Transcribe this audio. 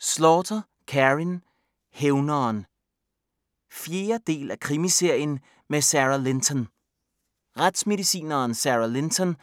Slaughter, Karin: Hævneren 4. del af krimiserien med Sara Linton. Retsmedicineren Sara Linton